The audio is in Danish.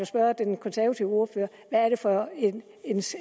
spørge den konservative ordfører hvad er det for